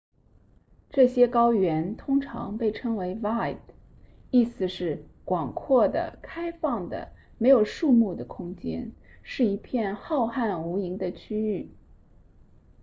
这些高原通常被称为 vidde 意思是广阔的开放的没有树木的空间是一片浩瀚无垠的区域